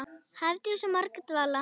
Hafdís og Margrét Vala.